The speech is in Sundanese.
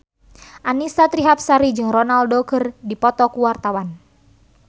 Annisa Trihapsari jeung Ronaldo keur dipoto ku wartawan